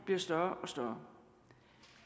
bliver større og større